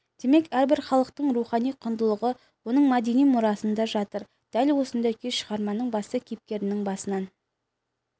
демек әрбір халықтың рухани құндылығы оның мәдени мұрасында жатыр дәл осындай күй шығарманың басты кейіпкерінің басынан